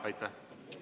Aitäh!